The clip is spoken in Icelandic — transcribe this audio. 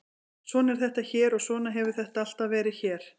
Svona er þetta hér og svona hefur þetta alltaf verið hér.